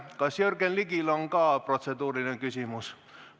Kas Jürgen Ligil on ka protseduuriline küsimus?